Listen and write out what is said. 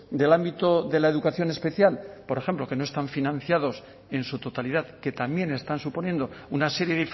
del ámbito de la educación especial por ejemplo que no están financiados en su totalidad que también están suponiendo una serie